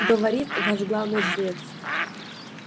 говорит ваш главный жрец